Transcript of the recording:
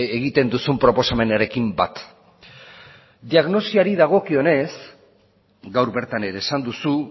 egiten duzun proposamenarekin bat diagnosiari dagokionez gaur bertan ere esan duzu